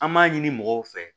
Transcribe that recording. An b'a ɲini mɔgɔw fɛ